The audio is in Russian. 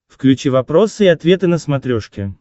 включи вопросы и ответы на смотрешке